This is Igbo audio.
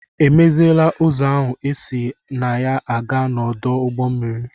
E meziela ụzọ ahụ esi na ya a gaa n'ọdụ ụgbọ mmiri?